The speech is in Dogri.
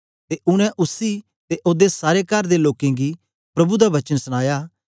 ते उनै उसी ते ओदे सारे कर दे लोकें गी प्रभु दा वचन सनाया